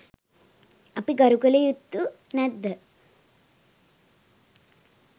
අපි ගරු කළ යුතු නැද්ද?